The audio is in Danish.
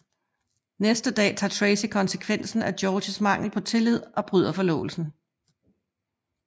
Næste dag tager Tracy konsekvensen af Georges mangel på tillid og bryder forlovelsen